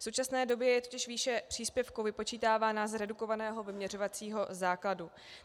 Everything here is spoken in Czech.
V současné době je totiž výše příspěvku vypočítávána z redukovaného vyměřovacího základu.